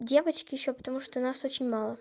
девочки ещё потому что нас очень мало